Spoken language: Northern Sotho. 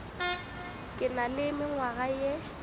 ke na le mengwaga ye